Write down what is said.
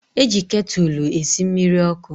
E ji ketụlụ esi mmiri ọkụ.